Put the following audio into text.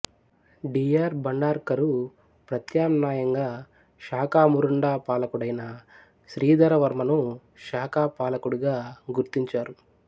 D R Bhandarkar ప్రత్యామ్నాయంగా షాకామురుండా పాలకుడైన శ్రీధరవర్మను షాకా పాలకుడుగా గుర్తించారు